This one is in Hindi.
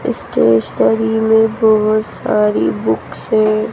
इस स्टेशनरी में बहोत सारी बुक्स हैं।